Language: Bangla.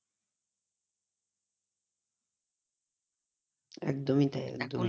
একদমই তাই একদমই